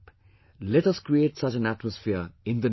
Let us create such an atmosphere in the nation